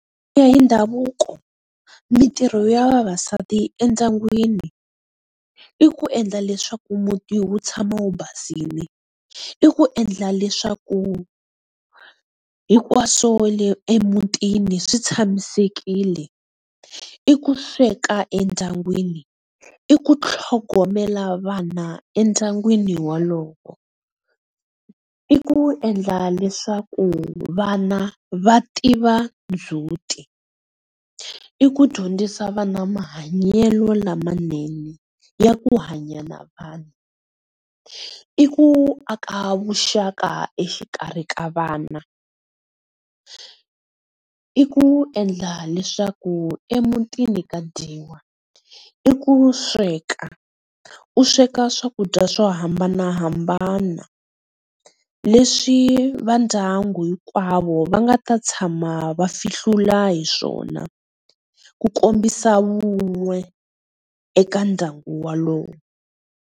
Ku ya hi ndhavuko mintirho ya vavasati endyangwini i ku endla leswaku muti wu tshama wu basile, i ku endla leswaku hinkwaswo leswi emutini swi tshamisekile, i ku sweka endyangwini, i kutlhogomela vana endyangwini wolowo, i ku endla leswaku vana va tiva ndzut, i i ku dyondzisa vani mahanyelo lamanene ya ku hanya na vanhu, i ku aka vuxaka exikarhi ka vana, i ku endla leswaku emutini ka dyiwa, i ku sweka u sweka swakudya swo hambanahambana leswi va ndyangu hinkwavo va nga ta tshama va fihlula hiswona ku kombisa vun'we eka ndyangu walowo.